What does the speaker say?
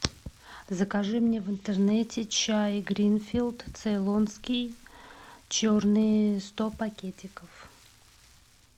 закажи мне в интернете чай гринфилд цейлонский черный сто пакетиков